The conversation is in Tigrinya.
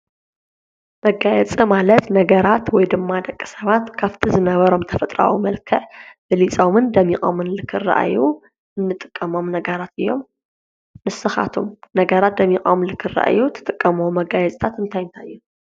መጋየጽ ማለት ነገራት ወይ ድማ ደቀ ሰባት ካፍቲ ዝነበሮም ተፈጥራዊ መልከ ብሊጾምን ደሚቖምን ልክርአዩ እንጥቀሞም ነገራት እዮም ንስኻቱም ነገራት ደሚቛም ልክረአዩ ትጥቀመ መጋየጽታት እንታይንታዮ?